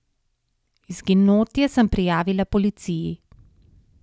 Izginotje sem prijavila policiji.